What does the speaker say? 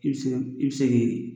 I bɛ se i bɛ se ki.